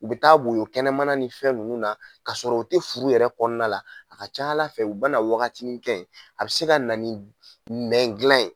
U bɛ taa woyo kɛnɛmana ni fɛn minnu na k'a sɔrɔ u tɛ furu yɛrɛ kɔnɔna la, a ka ca ala fɛ u bɛna waga nin kɛ yen, a bɛ se ka na nɛn dila ye.